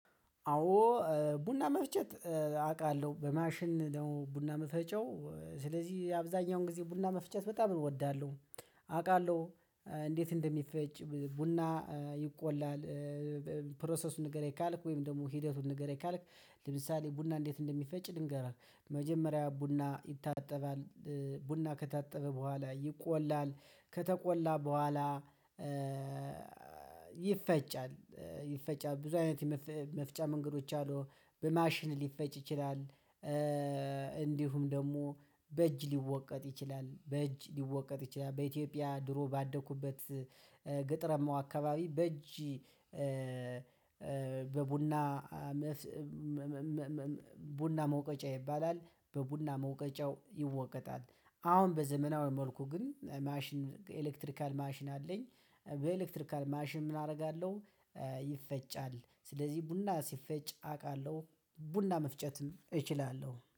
አዎ ቡና መፍጨት አውቃለሁ በማሽን ደግሞ ቡና መፈጨው ስለዚህ አብዛኛውን ጊዜ ቡና መፍጨት በጣም እወዳለሁ። አውቃለሁ እንዴት እንደሚፈጭ ቡና ይቆላል። ፕሮሰሱን ንገረኝ ካልክ ወይም ደግሞ ሂደቱን ንገረኝ? ካልክ ለምሳሌ ቡና እንዴት እንደሚፈጭ ልንገርህ። መጀመሪያ ቡና ይታጠባል። ቡና ከታጠበ በኋላ ይቆላል። ከተቆላ በኋላ ይፈጫል። ይፈጫል ብዙ አይነት መፍጫ መንገዶች አሉ በማሽን ሊፈጭ ይችላል። እንዲሁም ደግሞ በእጅ ሊወቀጥ ይችላል በእጅ ሊወቀጥ ይችላል። በኢትዮጵያ ድሮ ባደኩበት ግጥረማው አካባቢ በእጅ። በቡና ቡና መውቀጫ ይባላል። በቡና መውቀጫው ይወቀጣል። አሁን በዘመናዊ መልኩ ግን ማሽን ኤሌክትሪካል ማሽን አለኝ። በኤሌክትሪካል ማሽን ምን አደርጋለሁ? ይፈጫል ስለዚህ ቡና ሲፈጭ አውቃለሁ። ቡና መፍጨትም እችላለሁ